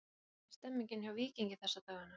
Hvernig er stemningin hjá Víkingi þessa dagana?